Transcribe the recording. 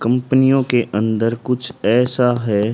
कंपनियों के अंदर कुछ ऐसा है।